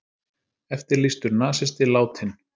Eftirlýstur nasisti látinn